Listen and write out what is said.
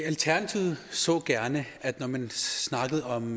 alternativet så gerne at man når man snakker om